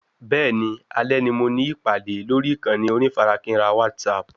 Bẹ́ẹ̀ni, alè ni mo ní ìpàdé lórí ìkànnì onífarakínra WhatsApp